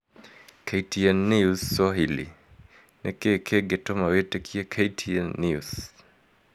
KTN News Swahili: Niki kingituma witikie KTN News